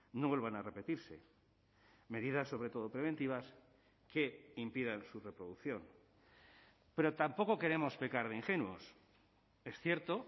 no vuelvan a repetirse medidas sobre todo preventivas que impidan su reproducción pero tampoco queremos pecar de ingenuos es cierto